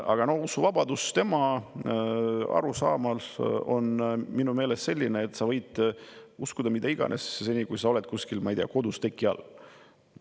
Aga tema arusaam usuvabadusest on minu meelest selline, et sa võid uskuda mida iganes, seni, kui sa oled kuskil, ma ei tea, kodus teki all.